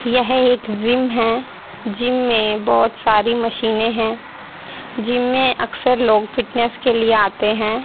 यह एक जिम है। जिम में बहुत सारी मशीनें हैं। जिम में अक्सर लोग फिटनेस के लिए आते हैं।